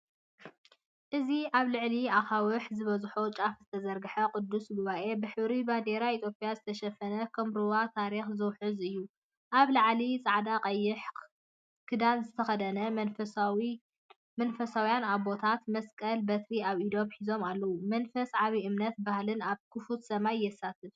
እዚ ኣብ ልዕሊ ኣኻውሕ ዝበዝሖ ጫፍ ዝተዘርግሐ ቅዱስ ጉባኤ፡ብሕብሪ ባንዴራ ኢትዮጵያ ዝተሸፈነ ከም ሩባ ታሪኽ ዝውሕዝ እዩ። ኣብ ላዕሊ፡ጻዕዳን ቀይሕን ክዳን ዝተኸድኑ መንፈሳውያን ኣቦታት፡መስቀልን በትሪን ኣብ ኢዶም ሒዞም ኣለው። መንፈስ ዓቢ እምነትን ባህልን ኣብ ክፉት ሰማይ የስተንፍስ።